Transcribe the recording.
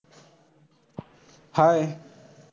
Hi